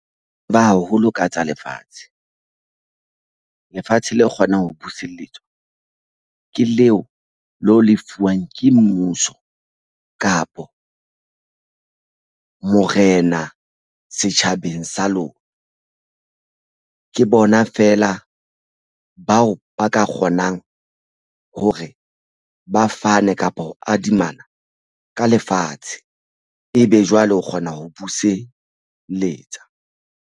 Ba haholo ka tsa lefatshe, lefatshe la kgonang ho buseletswa ke leo le ho lefuwang ke mmuso kapa morena setjhabeng sa lona. Ke bona feela bao ba ka kgonang hore ba fane kapa ho adimana ka lefatshe. Ebe jwale o kgona ho buseletsa.